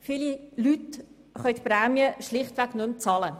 Viele Leute können die Prämien schlichtweg nicht mehr bezahlen.